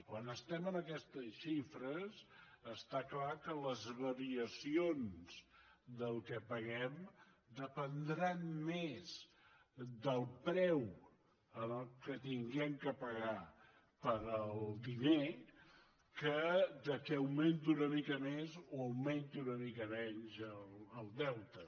quan estem en aquestes xifres està clar que les variacions del que paguem dependran més del preu amb què haguem de pagar el diner que del fet que augmenti una mica més o augmenti una mica menys el deute